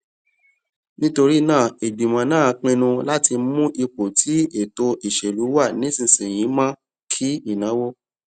nítorí náà ìgbìmọ náà pinnu láti mú ipò tí ètò ìṣèlú wà nísinsìnyí mó kí ìnáwó